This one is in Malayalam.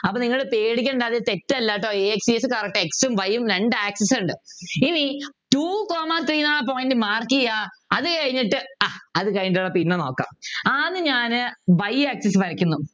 അപ്പൊ നിങ്ങൾ പേടിക്കേണ്ട അത് തെറ്റല്ല ട്ടോ a x e s correct ആ x ഉം y ഉം രണ്ട് axes ഉണ്ട് ഇനി Two comma three ന്നു പറയുന്ന point Mark ചെയ്യുക അത് കഴിഞ്ഞിട്ട് ആഹ് അത് കഴിഞ്ഞിട്ട് പിന്നെ നോക്കാം ആദ്യം ഞാന് y axis വരയ്ക്കുന്നു